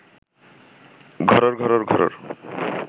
ঘরোর ঘরোর ঘরোর